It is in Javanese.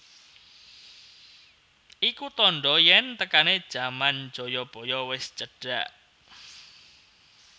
Iku tandha yen tekane jaman Jayabaya wis cedhak